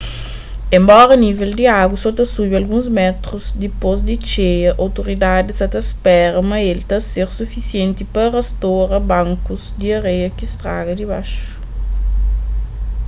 enbora nível di agu so ta subi alguns métrus dipôs di txeia outoridadis sa ta spera ma el ta ser sufisienti pa rastora bankus di areia ki straga di baxu